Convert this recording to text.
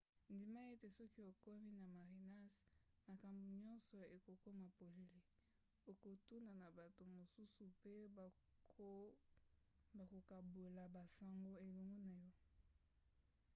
ndima ete soki okomi na marinas makambo nyonso ekokoma polele. okokutana na bato mosusu pe bakokabola basango elongo na yo